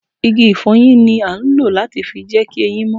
Igi ifoyin ni a ń lọ láti fi jẹ ki ẹyin mó